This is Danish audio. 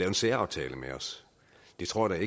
en særaftale med os det tror jeg